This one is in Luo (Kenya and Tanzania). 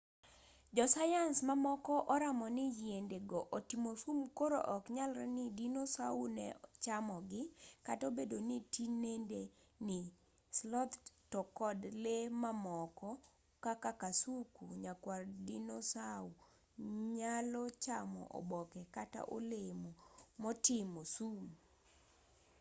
jo sayans mamoko oramo ni yiende go otimo sum koro oknyalre ni dinosau ne chamogi kata obedo ni tinende ni sloth to kod lee mamoko kaka kasuku nyakwar dinosau nyalo chamo oboke kata olemo motimo sum